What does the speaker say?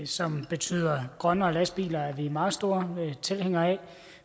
som betyder grønnere lastbiler er vi meget store tilhængere af